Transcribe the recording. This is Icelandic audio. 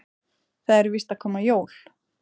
Það eru víst að koma jól.